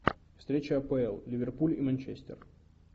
встреча апл ливерпуль и манчестер